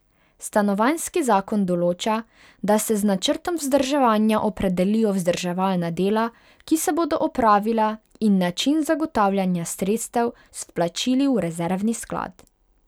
Stanovanjski zakon določa, da se z načrtom vzdrževanja opredelijo vzdrževalna dela, ki se bodo opravila, in način zagotavljanja sredstev z vplačili v rezervni sklad.